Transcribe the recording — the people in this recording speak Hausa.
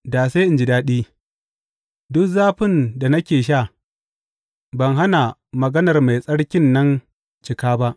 Da sai in ji daɗi duk zafin da nake sha ban hana maganar Mai Tsarkin nan cika ba.